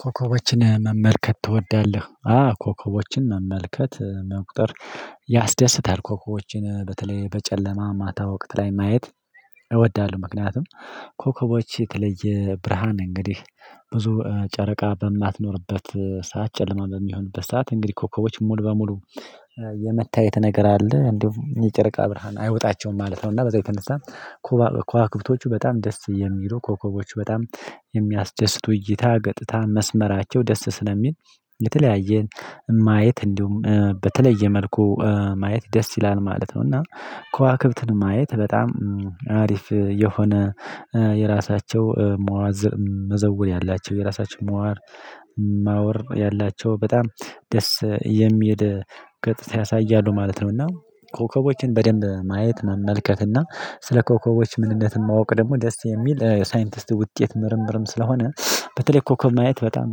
ኮከቦችን መመልከት ትወዳለህ? አዎ ኮከቦችን መመልከት መቁጠር ያስደስታል። ኮከቦችን በተለይ በጨለማ ማታ ወቅት ላይ ማየት እወዳለሁ። ምክንያቱም ኮከቦች የተለየ ብርሃን እንግዲህ ብዙ ጨረቃ በማትኖርበት ሰዓት ጨለማ በሚሆንበት ሰዓት እንግዲህ ኮከቦች ሙሉ በሙሉ የመታየት ነገር አለ እንዲሁም የጨረቃ ብርሃን አይዉጣቸውም ማለት ነው። እና በዛው የተነሳ ከዋክብቶቹ በጣም ደስ የሚሉ ኮከቦቹ በጣም የሚያስደስቱ እይታ ገጥታ መስመራቸው ደስ ስለሚል የተለያየ ማየት እንዲሁም በተለየ መልኩ ማየት ደስ ይላል ማለት ነው። እና ከዋክብትን ማየት በጣም ኮከቦችን መመልከት ትወዳለህ? አዎ ኮከቦችን መመልከት መቁጠር ያስደስታል። ኮከቦችን በተለይ በጨለማ ማታ ወቅት ላይ ማየት ማወር ያላቸው በጣም ደስ የሚል ገጽታ ያሳያሉ ማለት ነው። እና ኮከቦችን በደንብ ማየት መመልከት እና ስለ ኮከቦች ምንነት ማወቅ ደግሞ ደስ የሚል ሳይንቲስት ውጤት ምርምርም ስለሆነ በተለይ ኮከብ ማየት በጣም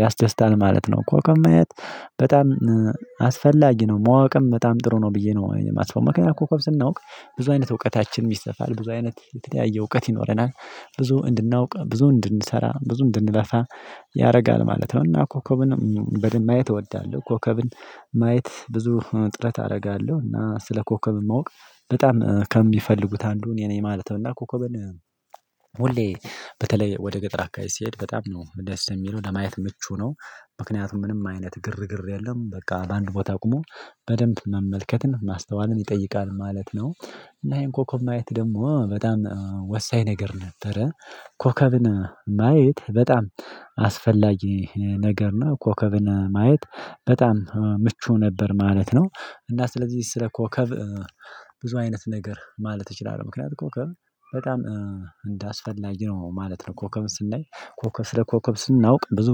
ያስደስታል ማለት ነው። ኮከብ ማየት በጣም አስፈላጊ ነው ማወቅም በጣም ጥሩ ነው። ብዬ ነው እኔ ማስበው ምክንያቱም ኮከብ ስናውቅ ብዙ አይነት እውቀታችን ይሰፋል ብዙ አይነት የተለያየ እውቀት ይኖረናል ብዙ እንድናውቅ ብዙ እንድንሰራ ብዙ እንድንለፋ ያደርጋል ማለት ነው። እና ኮከብን በደንብ ማየት እወዳለሁ ኮከብን ማየት ብዙ እጥረት አደርጋለሁ እና ስለ ኮከብ ማወቅ በጣም ከሚፈልጉት አንዱን የኔ ማለት ነው። እና ኮከብን ሁሌ በተለይ ወደ ገጠር አከባቢ ስሄድ በጣም ነው ደስ የሚለው ለማየት ምቹ ነው። ምክንያቱም ምንም አይነት ግርግር የለም በቃ በአንድ ቦታ ቁሞ በደንብ መመልከትን ማስተዋልን ይጠይቃል ማለት ነው። እና ይሄን ኮከብ ማየት ደግሞ በጣም ወሳኝ ነገር ነበረ። ኮከብን ማየት በጣም አስፈላጊ ነገር እና ኮከብን ማየት በጣም ምቹ ነበር ማለት ነው። እና ስለዚህ ስለ ኮከብ ብዙ አይነት ነገር ማለት እችላለሁ ምክንያቱም ኮከብ በጣም እንዳስፈላጊ ነው ማለት ነው። ኮከብ ስናይ ኮከብ ስለ ኮከብ ስናውቅ ብዙ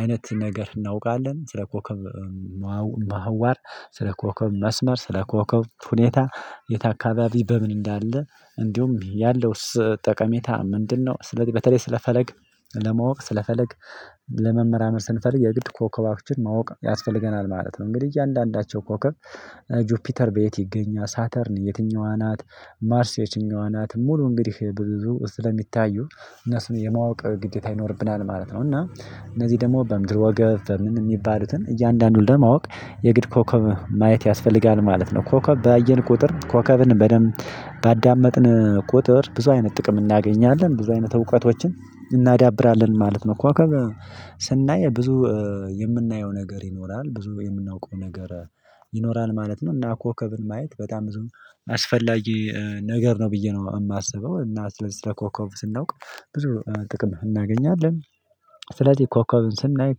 አይነት ነገር እናውቃለን። ስለ ኮከብ ማህዋር ስለ ኮከብ መስመር ስለ ኮከብ ሁኔታ የት አካባቢ በምን እንዳለ እንዲሁም ያለውስ ጠቀሜታ ምንድነው? ስለ በተለይ ስለ ፈለግ ለማወቅ ስለፈለግ ለመመርመር ስንፈልግ የግድ ኮከባችን ማወቅ ያስፈልገናል ማለት ነው። እንግዲህ እያንዳንዳቸው ኮከብ ጁፒተር በየት ይገኛል ሳተርን የትኛዋ ናት ማርስ የትኛዋ ናት ሙሉ እንግዲህ ብዙ ስለሚታዩ እነሱን የማወቅ ግዴታ ይኖርብናል ማለት ነው። እና እነዚህ ደግሞ በምድር ወገብ በምን የሚባሉትን እያንዳንዱን ለማወቅ የግድ ኮከብ ማየት ያስፈልጋል ማለት ነው። ኮከብ ባየን ቁጥር ኮከብን በደንብ ባዳመጥን ቁጥር ብዙ አይነት ጥቅም እናገኛለን ብዙ አይነት እውቀቶችን እናዳብራለን ማለት ነው። እኮ ስናይ ብዙ የምናየው ነገር ይኖራል ብዙ የምናውቀው ነገር ይኖራል ማለት ነው። እና ኮከብን ማየት በጣም ብዙም አስፈላጊ ነገር ነው ብዬ ነው የማስበው። እና ስለዚህ ስለ ኮከብ ስናውቅ ብዙ ጥቅም እናገኛለን። ስለዚህ ኮከብን ስናይ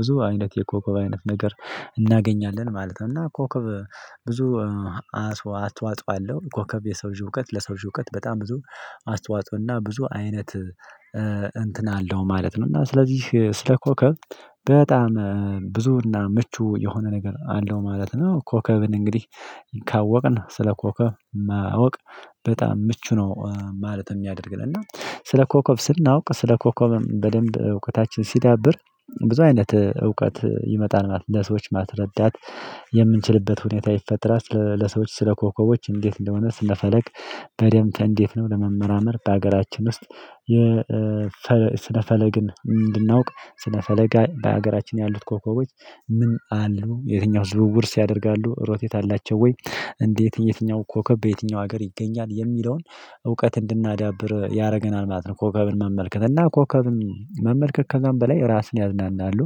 ብዙ አይነት የኮከብ አይነት ነገር እናገኛለን ማለት ነው። እና ኮከብ ብዙ አስተዋጽኦ አለው ኮከብ የሰው ልጅ እዉቀት ለሰው ልጅ እውቀት በጣም ብዙ አስተዋጽኦና ብዙ አይነት እንትን አለው ማለት ነው። እና ስለዚህ ስለ ኮከብ በጣም ብዙና ምቹ የሆነ ነገር አለው ማለት ነው። ኮከብን እንግዲህ ካወቅን ስለ ኮከብ ማወቅ በጣም ምቹ ነው ማለት የሚያደርግን እና ስለ ኮከብ ስናውቅ ስለ ኮከብም በደንብ እውቀታችን ሲዳብር ብዙ አይነት እውቀት ይመጣል ማለት ነው። ለሰዎች ማስረዳት የምንችልበት ሁኔታ ይፈጥራል። ለሰዎች ስለ ኮከቦች እንዴት እንደሆነ ስነፈለግ በደንብ እንዴት ነው ለመመራመር በሀገራችን ውስጥ ስነፈለግን እንድናውቅ ስነ ፈለግ በሀገራችን ያሉት ኮከቦች ምን አሉ የትኛው ዝውውርስ ያደርጋሉ ሮቴት አላቸው ወይ እንዴት የትኛው ኮከብ በየትኛው ሀገር ይገኛል የሚለውን እውቀት እንድናዳብር ያደርገናል ማለት ነው። ኮከብን መመልከት እና ኮከብን መመልከት ከዛም በላይ ራስን ያዝናናሉ።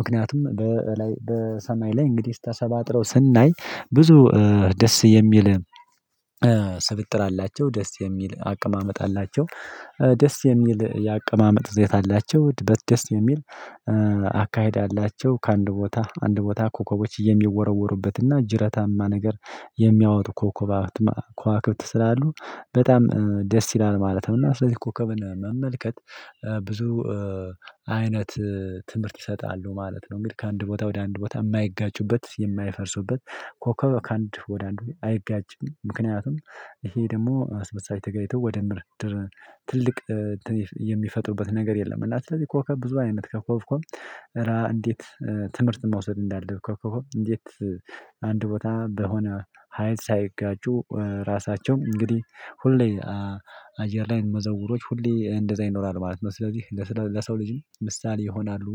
ምክንያቱም በሰማይ ላይ እንግዲህ ተሰባጥረው ስናይ ብዙ ደስ የሚል ስብጥር አላቸው ደስ የሚል አቀማመጥ አላቸው ደስ የሚል የአቀማመጥ ይዘት አላቸው ደስ የሚል አካሄድ አላቸው ከአንድ ቦታ አንድ ቦታ ኮከቦች የሚወረወሩበትና ጅረታማ ነገር የሚያወጡ ኮከብ አውትማ ከዋክብት ስላሉ በጣም ደስ ይላል ማለት ነው። እና ስለዚህ ኮከብን መመልከት ብዙ አይነት ትምህርት ይሰጣሉ ማለት ነው። እንግዲህ ከአንድ ቦታ ወደ አንድ ቦታ የማይጋጩበት የማይፈርሱበት ኮከብ ከአንድ ወደ አንድ ቦታ አይጋጭም። ምክንያቱም ይሄ ደግሞ እርስ በርሳቸው ተጋጭተው ወደ ምድር ትልቅ የሚፈጥሩበት ነገር የለም። እና ስለዚህ ኮከብ ብዙ አይነት ኮከብኮብ እረ እንዴት ትምህርት መውሰድ እንዳለብ ኮኮብ እንዴት አንድ ቦታ በሆነ ሀይል ሳይጋጩ ራሳቸውም እንግዲህ ሁሌ አየር ላይ መዘውሮች ሁሌ እንደዛ ይኖራል ማለት ነው። ስለዚህ ለሰው ልጅም ምሳሌ ይሆናሉ።